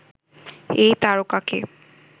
এই তারকাকে